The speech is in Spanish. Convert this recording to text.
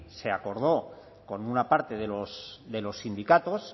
se acordó con una parte de los sindicatos